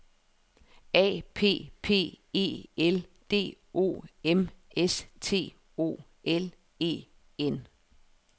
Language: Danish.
A P P E L D O M S T O L E N